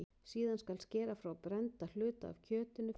Síðan skal skera frá brennda hluta af kjötinu fyrir neyslu.